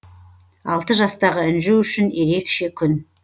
алты жастағы інжу үшін ерекше күн